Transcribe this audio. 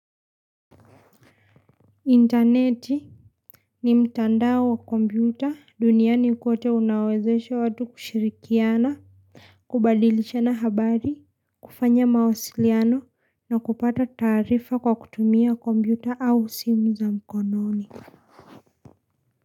Interneti. Ni mtandao wa kompyuta, duniani kote unaowezeshe watu kushirikiana. Kubadilishana habari. Kufanya mawasiliano. Na kupata taarifa, kwa kutumia kompyuta au, simu za mkononi.